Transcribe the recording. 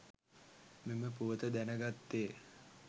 මෙම පුවත දැනගත්තේ.